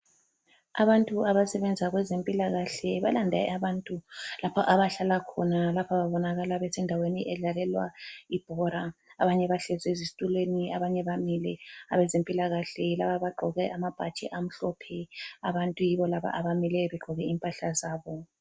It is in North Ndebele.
Abantu abasebenza kwezempilakahle balande abantu lapha abahlala khona, lapha babonakala besendaweni edlalelwa ibhola, abanye bahlezi ezitulweni abanye bamile. Abezempilakahle yilaba abagqoke amabhatshi amhlophe, abantu yibolaba bamile begqoke impahla zabo.